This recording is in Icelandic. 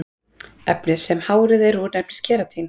Efnið sem hárið er úr nefnist keratín.